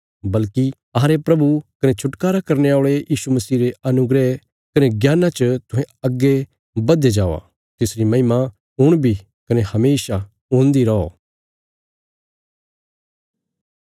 बल्कि अहांरे प्रभु कने छुटकारा करने औल़े यीशु मसीह रे अनुग्रह कने ज्ञाना च तुहें अग्गे बधदे जावा तिसरी महिमा हुण बी कने हमेशा हुन्दी रौ